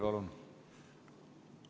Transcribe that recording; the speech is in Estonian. Palun!